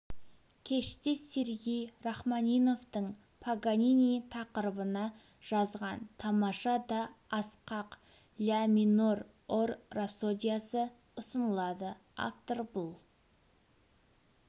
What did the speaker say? кеште сергей рахманиновтың паганини тақырыбына жазған тамаша да асқақ ля минор ор рапсодиясы ұсынылады автор бұл